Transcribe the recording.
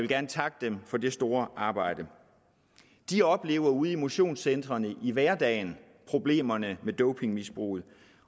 gerne takke dem for det store arbejde de oplever ude i motionscentrene i hverdagen problemerne med dopingmisbruget